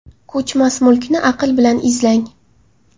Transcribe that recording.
Ko‘chmas mulkni aql bilan izlang.